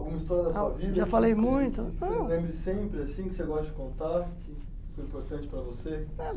Alguma história da sua vida que você Já falei muito Você lembre sempre assim, que você goste de contar, que foi importante para você? Eh